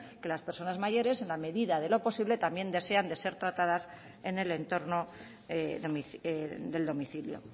que las personas mayores en la medida de lo posible también desean de ser tratadas en el entorno del domicilio